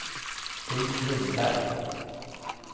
Ulf Lindberg